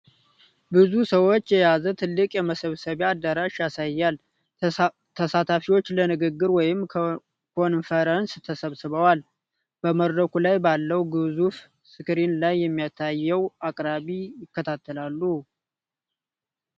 ብዙ ሰዎችን የያዘ ትልቅ የመሰብሰቢያ አዳራሽ ያሳያል። ተሳታፊዎች ለንግግር ወይም ኮንፈረንስ ተሰብስበው፣ በመድረኩ ላይ ባለው ግዙፍ ስክሪን ላይ የሚታየውን አቅራቢ ይከታተላሉ።